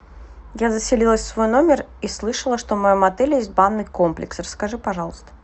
я заселилась в свой номер и слышала что в моем отеле есть банный комплекс расскажи пожалуйста